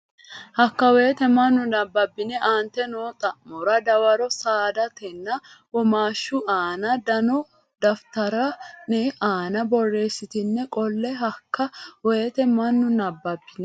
Hakka wote mannu nabbabbine aante noo xa mora dawaro saadatenna womaashshu aana dano daftari ne aana borreessitine qolle Hakka wote mannu nabbabbine.